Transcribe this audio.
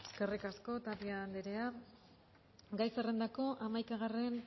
eskerrik asko tapia andrea gai zerrendako hamaikagarren